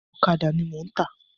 Ọ̀kàdà ni mò ń tà.